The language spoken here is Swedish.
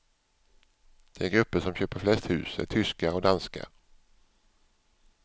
De grupper som köper flest hus är tyskar och danskar.